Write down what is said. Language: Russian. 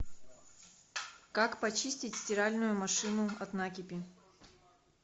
как почистить стиральную машину от накипи